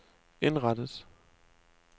indrettet